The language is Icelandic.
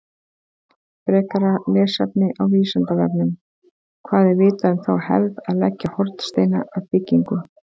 Frekara lesefni á Vísindavefnum: Hvað er vitað um þá hefð að leggja hornsteina að byggingum?